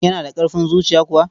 Yana da ƙarfin zuciya kuwa?